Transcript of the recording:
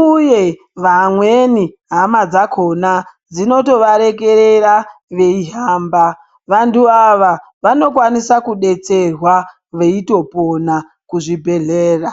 uye vamweni hama dzakona dzinoto varekerera veihamba vantu ava vanokwanisa kudetserwa veitopona kuzvi bhehlera.